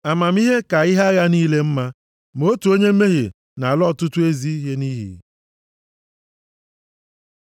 Amamihe ka ihe agha niile mma, ma otu onye mmehie na-ala ọtụtụ ezi ihe nʼiyi.